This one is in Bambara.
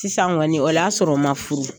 Sisan kɔni o y'a sɔrɔ n man furu.